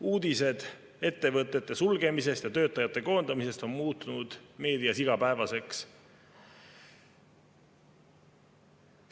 Uudised ettevõtete sulgemisest ja töötajate koondamisest on muutunud meedias igapäevaseks.